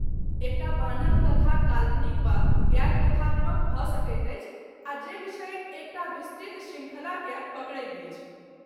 एकटा बान्हल कथा काल्पनिक वा गैर कथात्मक भऽ सकैत अछि आ जे विषयक एकटा विस्तृत शृङ्खलाकेँ पकड़ैत अछि।